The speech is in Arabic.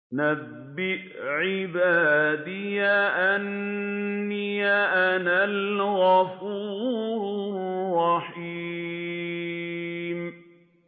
۞ نَبِّئْ عِبَادِي أَنِّي أَنَا الْغَفُورُ الرَّحِيمُ